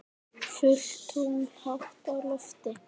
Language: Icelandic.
Fullt tungl hátt á lofti.